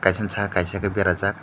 kaisa saha kaisa ke berajak.